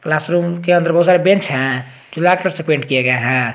Classroom के अंदर बहुत सारे बेंच हैं जो लाल कलर से पेंट किए गए हैं।